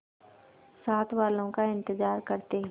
साथ वालों का इंतजार करते